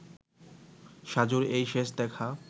সাজুর এই শেষ দেখা